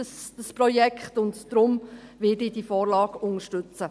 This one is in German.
Deshalb werde ich diese Vorlage unterstützen.